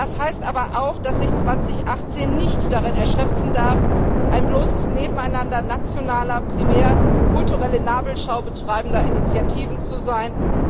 Das heißt aber auch, dass sich 2018 nicht darin erschöpfen darf, ein bloßes Nebeneinander nationaler, primär kulturelle Nabelschau betreibender Initiativen zu sein.